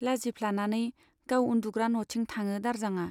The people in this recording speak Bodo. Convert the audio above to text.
लाजिफ्लानानै गाव उन्दुग्रा नथिं थाङो दारजांआ।